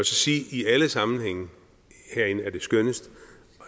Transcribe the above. sige at i alle sammenhænge herinde er det skønnest